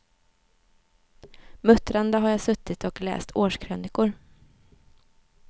Muttrande har jag suttit och läst årskrönikor.